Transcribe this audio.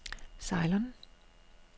Ceylon